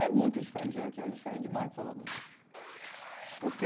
É muito diferente, aqui é diferente demais de Salvador, porque